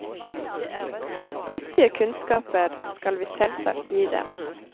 Nyttige kunnskaper skal vi selvsagt gi dem.